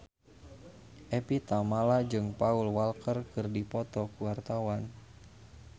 Evie Tamala jeung Paul Walker keur dipoto ku wartawan